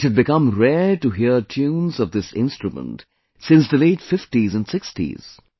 It had become rare to hear tunes of this instrument since the late 50's and 60's